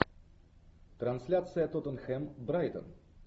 трансляция тоттенхэм брайтон